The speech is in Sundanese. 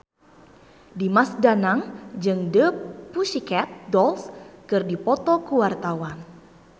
Dimas Danang jeung The Pussycat Dolls keur dipoto ku wartawan